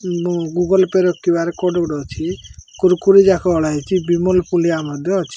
Google Pay ର Q R code ଗୋଟେ ଅଛି କୁର୍କୁ ଯାକ ଅଣାହେଇଛି ବିମଳ ମଧ୍ୟ ଅଛି।